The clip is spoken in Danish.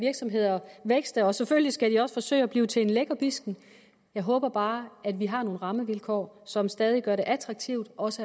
virksomheder vækste og selvfølgelig skal de også forsøge at blive til lækkerbiskener jeg håber bare at vi har nogle rammevilkår som stadig gør det attraktivt også